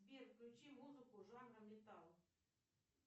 сбер включи музыку жанра металл